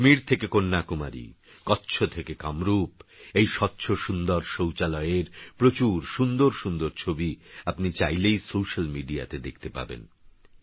কাশ্মীরথেকেকন্যাকুমারী কচ্ছথেকেকামরূপ এইস্বচ্ছসুন্দরশৌচালয়েরপ্রচুরসুন্দরসুন্দরছবিআপনিচাইলেইসোস্যালমিডিয়াতেদেখতেপাবেন